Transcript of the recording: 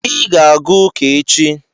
Ị ga-aga ụka echi